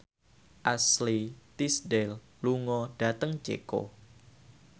Ashley Tisdale lunga dhateng Ceko